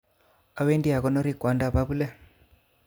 Owendi akonori kwondap abule